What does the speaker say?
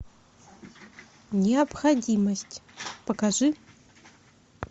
необходимость покажи